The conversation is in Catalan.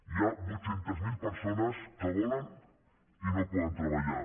hi ha vuit cents miler persones que volen i no poden treballar